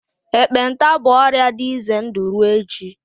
ekpenta bụ ọrịa dị ize ndụ ruo echi.